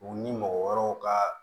U ni mɔgɔ wɛrɛw ka